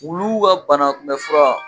Wuluw ka banakunbɛli fura